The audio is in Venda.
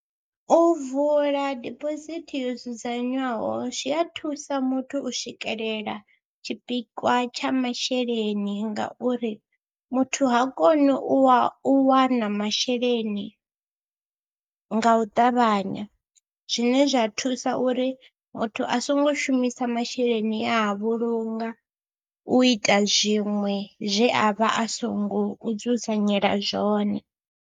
U vula dibosithi yo dzudzanywaho zwi a thusa muthu u swikelela tshipikwa tsha masheleni ngauri muthu ha koni u wa u wana masheleni nga u ṱavhanya, zwine zwa thusa uri muthu a songo shumisa masheleni e a vhulunga u ita zwiṅwe zwe a vha a songo dzudzanyela zwone.